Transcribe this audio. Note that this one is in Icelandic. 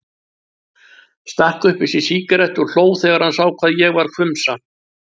Stakk upp í sig sígarettu og hló þegar hann sá hvað ég varð hvumsa.